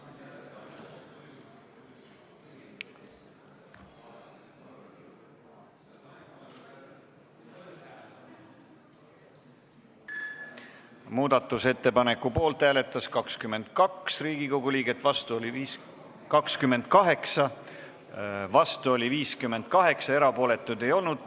Hääletustulemused Muudatusettepaneku poolt hääletas 28 Riigikogu liiget, vastu oli 58, erapooletuid ei olnud.